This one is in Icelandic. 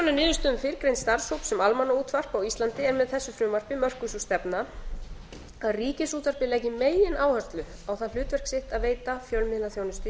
af niðurstöðum fyrrgreinds starfshóps sem almannaútvarp á íslandi er með þessu frumvarpi mörkuð sú stefna að ríkisútvarpið leggi megináherslu á það hlutverk sitt að veita fjölmiðlaþjónustu í almannaþágu